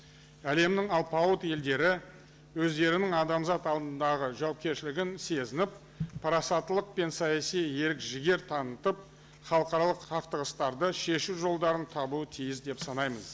әлемнің алпауыт елдері өздерінің адамзат алдындағы жауапкершілігін сезініп парасаттылық пен саяси ерік жігер танытып халықаралық қақтығыстарды шешу жолдарын табуы тиіс деп санаймыз